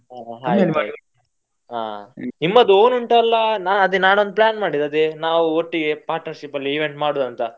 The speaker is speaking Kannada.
ಹಾ ನಿಮ್ಮದ್ own ಉಂಟಲ್ಲಾ ನಾನ್ ಅದೆ ನಾನ್ನೊಂದು plan ಮಾಡಿದೆ ನಾವು ಒಟ್ಟಿಗೆ partnership ಅಲ್ಲಿ event ಮಾಡುದಂತ.